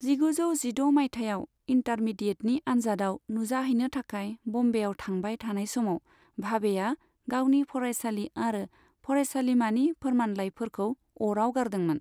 जिगुजौ जिद' मायथाइयाव, इन्टारमीडिएटनि आनजादाव नुजाहैनो थाखाय बम्बेयाव थांबाय थानाय समाव, भाबेआ गावनि फरायसालि आरो फरायसालिमानि फोरमानलाइफोरखौ अराव गारदोंमोन।